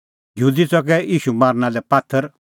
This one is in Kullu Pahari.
यहूदी च़कै ईशू मारना लै पात्थर